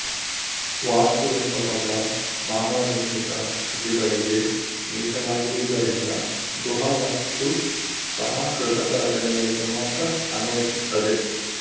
ವಾಸ್ತು ಎಂಬ ಪದ ಮಾನವನಿರ್ಮಿತ ಕೃತಿಗಳಿಗೆ ಮೀಸಲಾಗಿರುವುದರಿಂದ ಗುಹಾ ವಾಸ್ತು ಸಹ ಕೃತಕ ರಚನೆಗಳಿಗೆ ಮಾತ್ರ ಅನ್ವಯಿಸುತ್ತದೆ